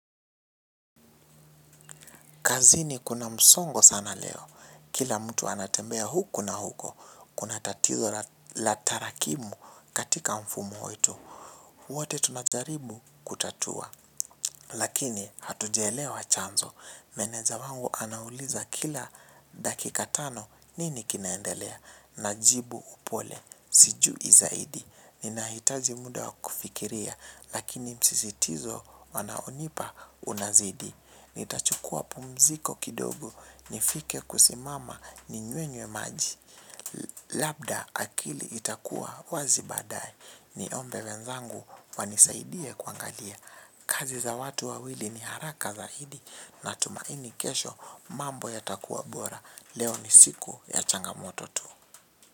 Kazini kuna msongo sana leo. Kila mtu anatembea huku na huko. Kuna tatizo la tarakimu katika mfumo ito. Wote tunajaribu kutatua. Lakini hatujaelewa chanzo. Meneja wangu anauliza kila dakika tano nini kinaendelea. Najibu upole. Sijui zaidi. Ninahitaji muda wa kufikiria. Lakini msisitizo wanaonipa unazidi. Nitachukua pumziko kidogo nifike kusimama ni nywenywe maji. Labda akili itakuwa wazi baadaye niombe wenzangu wanisaidie kuangalia kazi za watu wawili ni haraka zaidi. Na tumaini kesho mambo yatakuwa bora. Leo ni siku ya changamoto tu.